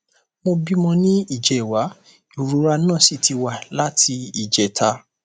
mo bímọ ní ìjẹwàá ìrora náà sì ti wà láti ìjẹta